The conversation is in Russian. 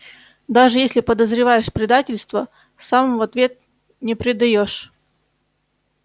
даже если подозреваешь предательство сам в ответ не предаёшь